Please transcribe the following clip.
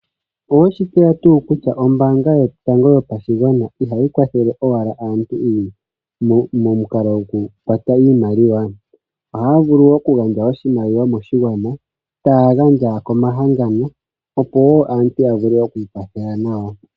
Oweshi tseya tuu kutya ombanga yotango yopashigwan ihayi kwathele owala aantu momukalo goku kwata iimaliwa. Ohaya vulu wo oku gandja oshimaliwa moshigwana, taya gandja komahangano opo aantu ya vule okwi kwathela nawa.